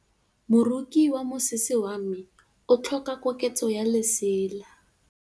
Moroki wa mosese wa me o tlhoka koketsô ya lesela.